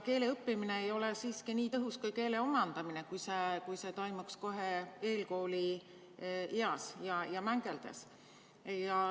Keele õppimine ei ole siiski nii tõhus kui keele omandamine, kui see toimuks kohe eelkoolieas ja mängeldes.